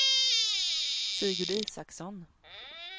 Sigurd Isaksson